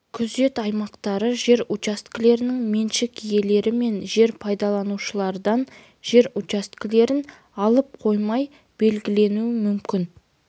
күзет аймақтары жер учаскелерінің меншік иелері мен жер пайдаланушылардан жер учаскелерін алып қоймай белгілену мүмкін